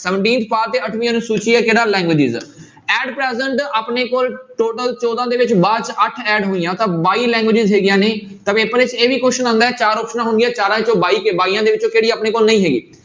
Seventeenth part ਤੇ ਅੱਠਵੀਂ ਅਨੁਸੂਚੀ ਹੈ languages ਆ at present ਆਪਣੇ ਕੋਲ total ਚੌਦਾਂ ਦੇ ਵਿੱਚ ਬਾਅਦ 'ਚ ਅੱਠ add ਹੋਈਆਂ ਤਾਂ ਬਾਈ languages ਹੈਗੀਆਂ ਨੇ ਤਾਂ ਪੇਪਰ ਵਿੱਚ ਇਹ ਵੀ question ਆਉਂਦਾ ਹੈ ਚਾਰ ਆਪਸਨਾਂ ਹੋਣਗੀਆਂ ਚਾਰਾਂ ਚੋਂ ਬਾਈ ਤੇ ਬਾਈਆਂ ਦੇ ਵਿੱਚੋਂ ਕਿਹੜੀ ਆਪਣੇ ਕੋਲ ਨਹੀਂ ਹੈਗੀ।